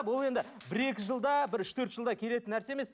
бұл енді бір екі жылда бір үш төрт жылда келетін нәрсе емес